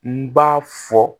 N b'a fɔ